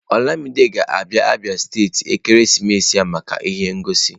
Olamide ga-abia Abia steeti ekeresimesi a maka ihe ngosi